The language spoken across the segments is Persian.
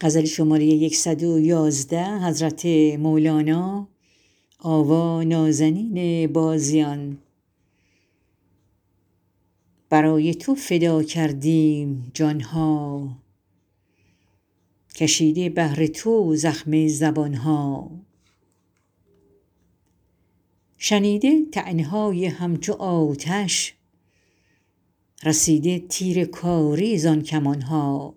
برای تو فدا کردیم جان ها کشیده بهر تو زخم زبان ها شنیده طعنه های همچو آتش رسیده تیر کاری زان کمان ها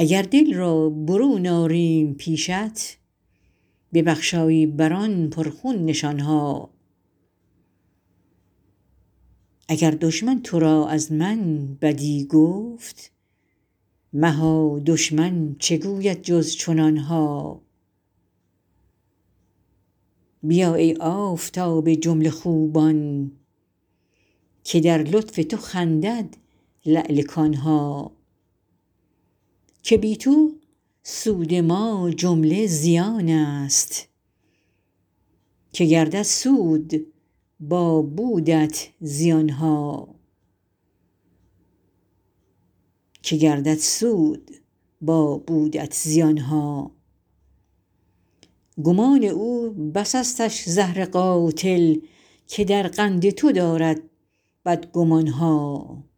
اگر دل را برون آریم پیشت ببخشایی بر آن پرخون نشان ها اگر دشمن تو را از من بدی گفت مها دشمن چه گوید جز چنان ها بیا ای آفتاب جمله خوبان که در لطف تو خندد لعل کان ها که بی تو سود ما جمله زیانست که گردد سود با بودت زیان ها گمان او بسستش زهر قاتل که در قند تو دارد بدگمان ها